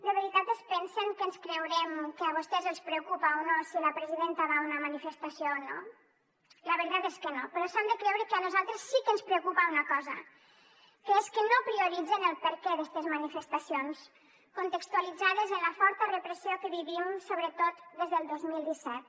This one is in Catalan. de veritat es pensen que ens creurem que a vostès els preocupa o no si la presidenta va a una manifestació o no la veritat és que no però s’han de creure que a nosaltres sí que ens preocupa una cosa que és que no prioritzen el perquè d’estes manifestacions contextualitzades en la forta repressió que vivim sobretot des del dos mil disset